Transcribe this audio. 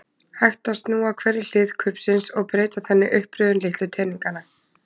Hægt er að snúa hverri hlið kubbsins og breyta þannig uppröðun litlu teninganna.